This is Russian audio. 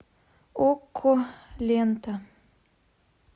окко лента